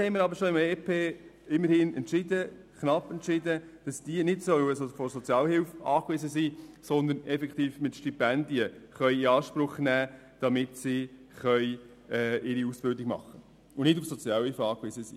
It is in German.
Betreffend die Lernenden haben wir aber schon im Entlastungspaket (EP) mit knapper Mehrheit immerhin entschieden, dass diese nicht auf Sozialhilfe angewiesen sein sollen, sondern effektiv Stipendien in Anspruch nehmen können, um ihre Ausbildung absolvieren zu können.